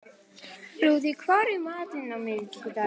Lúðvík, hvað er í matinn á miðvikudaginn?